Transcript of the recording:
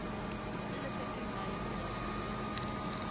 eletswa ke mmae mojabeng le